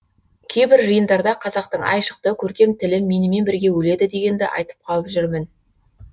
кейбір жиындарда қазақтың айшықты көркем тілі менімен бірге өледі дегенді айтып қалып жүрмін